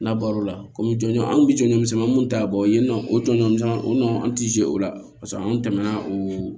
N'a baro la kɔmi jɔnjɔn an kun bɛ jɔnjɔn misɛnninw ta bɔ yen nɔ o jɔnjɔn o nɔ an tɛ se o la paseke an tɛmɛna o